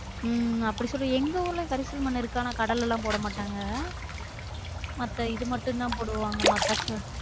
உம் அப்படி சொல்லு எங்க ஊர்லையும் கரிசல் மண் இருக்கும் ஆனா கடலல்லாம் போட மாட்டாங்க அப்ப இது மட்டும் தான் போடுவாங்க மக்காச்சோளம்